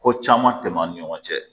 Ko caman tɛmɛn an ni ɲɔgɔn cɛ